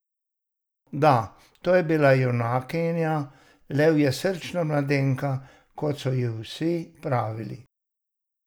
Da, to vam je bila junakinja, levjesrčna mladenka, kot so ji vsi pravili.